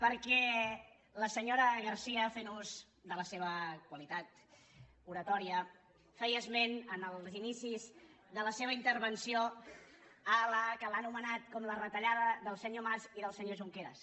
perquè la senyora garcía fent ús de la seva qualitat oratòria feia esment a l’inici de la seva intervenció del que ha anomenat com la retallada del senyor mas i del senyor junqueras